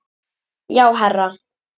Já, herra